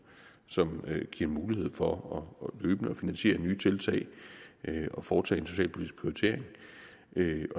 som giver mulighed for løbende at finansiere nye tiltag og foretage en socialpolitisk prioritering